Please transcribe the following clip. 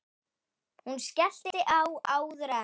Hún skellti á áður en